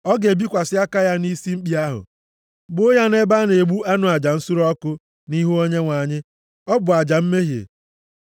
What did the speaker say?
Ọ ga-ebikwasị aka ya nʼisi mkpi ahụ. Gbuo ya nʼebe a na-egbu anụ aja nsure ọkụ, nʼihu Onyenwe anyị. Ọ bụ aja mmehie.